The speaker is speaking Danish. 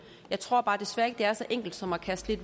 jeg tror desværre ikke er så enkel som at kaste